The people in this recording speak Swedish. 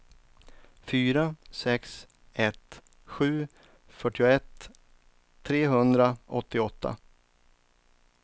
fyra sex ett sju fyrtioett trehundraåttioåtta